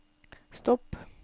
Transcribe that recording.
stopp